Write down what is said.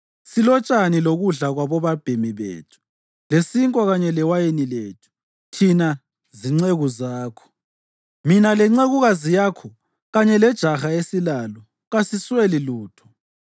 Silotshani lokudla kwabobabhemi bethu lesinkwa kanye lewayini lethu thina zinceku zakho, mina lencekukazi yakho kanye lejaha esilalo. Kasisweli lutho.”